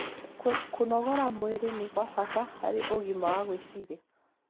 Kũnogora mwĩrĩ nĩ kwa bata harĩ ũgima wa gwĩciria